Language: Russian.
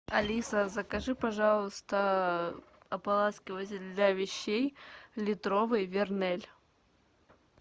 алиса закажи пожалуйста ополаскиватель для вещей литровый вернель